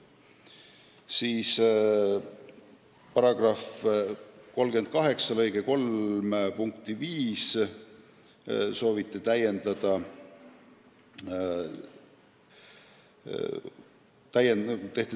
Edasi: kohtute seaduse § 38 lõike 3 punkti 5 sooviti täiendada.